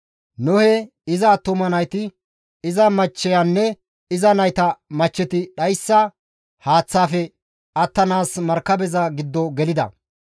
Nohe, iza attuma nayti, iza machcheyanne iza nayta machcheti dhayssa haaththaafe attanaas markabeza giddo gelida.